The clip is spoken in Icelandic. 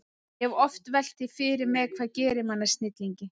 Ég hef oft velt því fyrir mér, hvað gerir mann að snillingi.